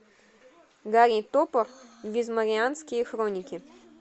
гарри топор визморианские хроники